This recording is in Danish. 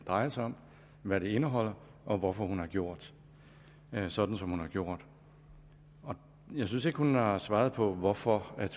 drejer sig om hvad det indeholder og hvorfor hun har gjort sådan som hun har gjort jeg synes ikke hun har svaret på hvorfor